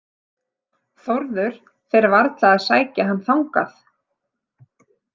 Þórður fer varla að sækja hann þangað.